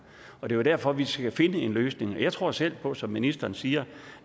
og det er jo derfor vi skal finde en løsning jeg tror selv på som ministeren siger